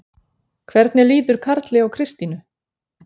Hvernig líður Karli og Kristínu?